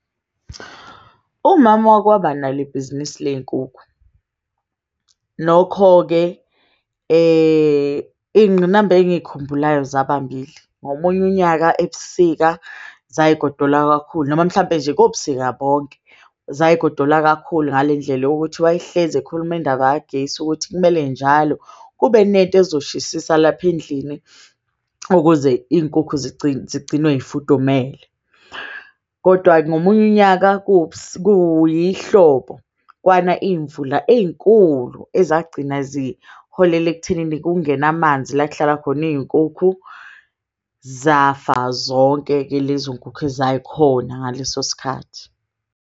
Umama wakwaba nalo ibhizinisi ley'nkukhu, nokho-ke iy'nqinamba engiy'khumbulayo zaba mbili. Ngomunye unyaka ebusika zay'godola kakhulu noma mhlampe nje kobusika bonke. Zay'godola kakhulu ngale ndlela yokuthi wayehlezi ekhuluma indaba kagesi ukuthi kumele njalo kube nento ezoshisisa. Lapha endlini ukuze iy'nkukhu zigcinwe y'fudumele. Kodwa ngomunye unyaka kuyihlobo kwana iy'mvula ey'nkulu ezagcina ziholela ekuthenini kungene amanzi. La ekuhlala khona iy'nkukhu zafa zonke-ke lezo y'nkukhu ezay'khona ngaleso sikhathi.